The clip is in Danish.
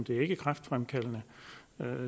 det ikke er kræftfremkaldende